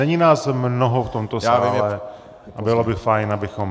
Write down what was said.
Není nás mnoho v tomto sále, ale bylo by fajn, abychom...